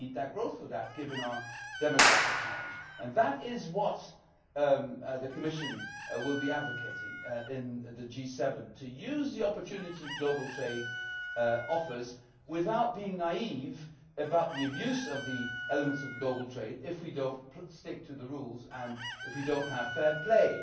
We need growth for that, given our demographic challenge. That is what the Commission will be advocating in the G7 to use the opportunity that global trade offers without being naive about the abuse of the elements of global trade if we do not stick to the rules and if we do not have fair play.